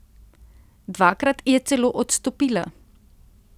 Dvakrat je celo odstopila.